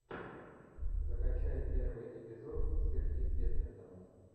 закачай первый эпизод сверхъестественного